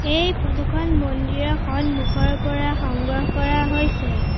এই ফটো খন মন্দিৰৰ সন্মুখৰ পৰা সংগ্ৰহ কৰা হৈছে।